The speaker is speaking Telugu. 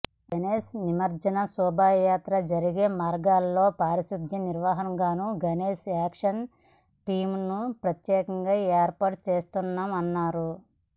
గణేష్ నిమజ్జన శోభయాత్ర జరిగే మార్గాల్లో పారిశుధ్య నిర్వహణకుగాను గణేష్ యాక్షన్ టీమ్లను ప్రత్యేకంగా ఏర్పాటు చేస్తున్నామన్నారు